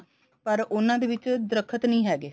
ਪਰ ਉਹਨਾ ਦੇ ਵਿੱਚ ਦਰੱਖਤ ਨੀ ਹੈਗੇ